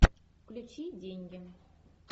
включи деньги